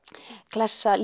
klessa